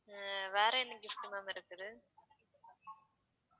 அஹ் வேற என்ன gift ma'am இருக்குது